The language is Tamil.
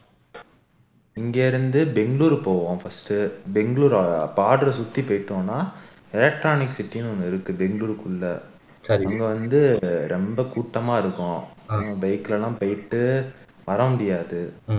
இங்க இருந்து பெங்களூர் போவோம் first பெங்களூர் border அ சுத்தி போயிட்டோம்னா electronic city ன்னு ஒன்னு இருக்கு பெங்களூருக்குள்ள அங்க வந்து ரொம்ப கூட்டமா இருக்கும் bike ல எல்லாம் போயிட்டு வர முடியாது